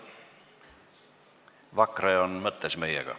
Vakra on mõttes meiega.